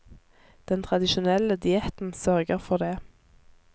Den tradisjonelle dietten sørger for det.